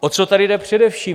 O co tady jde především?